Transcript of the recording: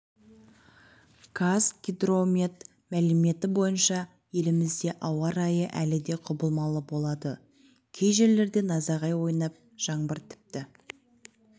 қазгидромет мәліметі бойынша елімізде ауа райы әлі де құбылмалы болады кей жерлерде найзағай ойнап жаңбыр тіпті